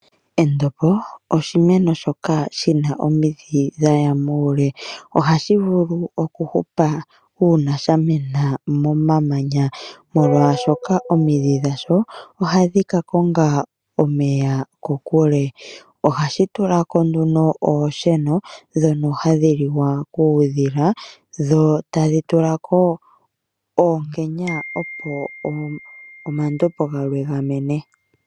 Endombo oshimeno shoka shina omidhi dhaya muule. Ohashi vulu oku hupa uuna sha mena momamanya omolwashoka omidhi dhalyo ohadhi ka konga omeya kokule. Ohashi tulako nduno oosheno dhoka hadhi liwa kuudhila dho tadhi tulako oonkenya opo omandbo galwe ga mene.